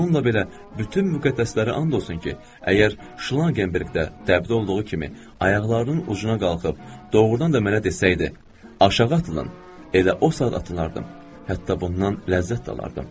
Bununla belə bütün müqəddəslərə and olsun ki, əgər Şlagenberqdə təbdə olduğu kimi ayaqlarının ucuna qalxıb, doğrudan da mənə desəydi, "Aşağı atılın!", elə o saat atılardım, hətta bundan ləzzət də alardım.